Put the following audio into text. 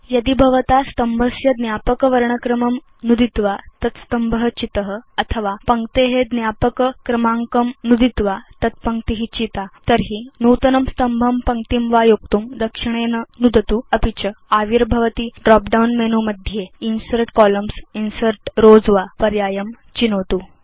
यदि भवता स्तम्भस्य ज्ञापक वर्णक्रमं नुदित्वा तत् स्तम्भ चित अथवा पङ्क्तेज्ञापक क्रमाङ्कं नुदित्वा तत् पङ्क्ति चिता तर्हि नूतनं स्तम्भं पङ्क्तिं वा योक्तुं दक्षिणेन नुदतु अपि च आविर्भवति ड्रॉप डाउन मेनु मध्ये इन्सर्ट् कोलम्न्स् इन्सर्ट् रोव्स वा पर्यायं चिनोतु